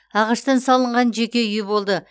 ағаштан салынған жеке үйі болды